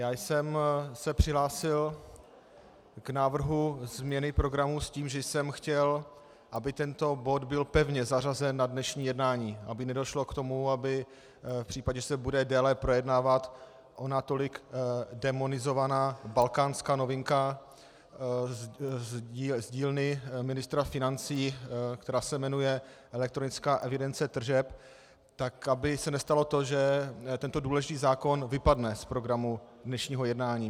Já jsem se přihlásil k návrhu změny programu s tím, že jsem chtěl, aby tento bod byl pevně zařazen na dnešní jednání, aby nedošlo k tomu, aby v případě, že se bude déle projednávat ona tolik démonizovaná balkánská novinka z dílny ministra financí, která se jmenuje elektronická evidence tržeb, tak aby se nestalo to, že tento důležitý zákon vypadne z programu dnešního jednání.